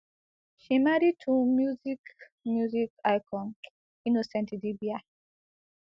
she marry to music music icon innocent idibia